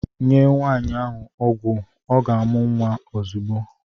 Nye Nwaanyị ahụ ọgwụ ọ ga-amụ nwa ozugbo!